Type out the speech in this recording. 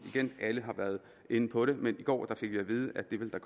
alle har været inde på det men i går fik vi at vide at det ville der